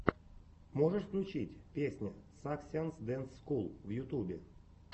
можешь включить песня саскианс дэнс скул в ютюбе